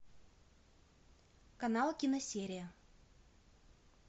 канал киносерия